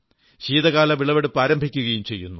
ശീതകാല വിളവെടുപ്പ് ആരംഭിക്കുകയും ചെയ്യുന്നു